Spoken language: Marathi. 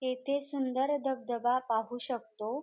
येथे सुंदर धबधबा पाहू शकतो.